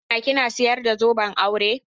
Hassana kina sayar da zoben aure?